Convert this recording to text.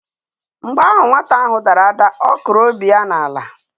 Mgbe ahụ nwata ahụ dara ada, ọ kụrụ obi ya n'ala.